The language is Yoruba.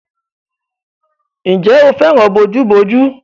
Ǹjẹ́ o fẹ́ràn bojúbojú?